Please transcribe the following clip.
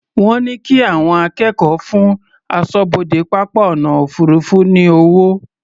Wọ́n ní kí àwọn akẹ́kọ̀ọ́ fún aṣọ́bodè pápá ọ̀nà òfuurufú ní owó.